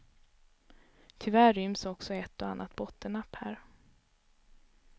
Tyvärr ryms också ett och annat bottennapp här.